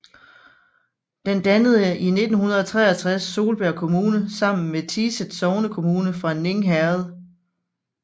Den dannede i 1963 Solbjerg Kommune sammen med Tiset sognekommune fra Ning Herred